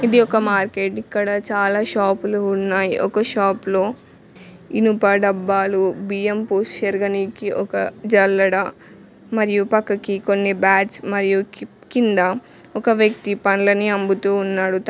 ఇది ఒక మార్కెట్ ఇక్కడ చాలా షాపు లు ఉన్నాయి ఒక షాఫ్లో ఇనుప డబ్బాలు బియ్యం పోసీ సెరగనీకి ఒక జల్లడ మరియు పక్కకి కొన్ని బ్యాట్స్ మరియు కిప్ కింద ఒక వ్యక్తి పండ్లనీ అమ్ముతూ ఉన్నాడు తన్--